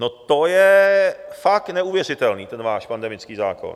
No to je fakt neuvěřitelný ten váš pandemický zákon.